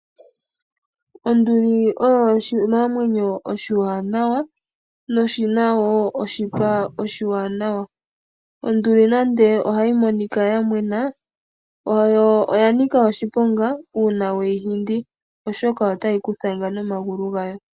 Onduli oyo oshinamwenyo oshiwanawa noshi na oshipa oshiwanawa. Onduli nande ohayi monika ya mwena, oya nika oshiponga uuna we yi hindi oshoka otayi ku thanga nomagulu gayo.